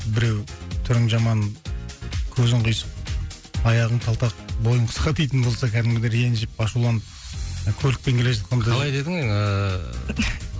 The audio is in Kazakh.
біреу түрің жаман көзің қисық аяғың талтақ бойың қысқа дейтін болса кәдімгідей ренжіп ашуланып көлікпен келе жатқанда қалай дедің ыыы